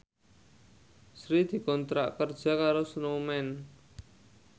Sri dikontrak kerja karo Snowman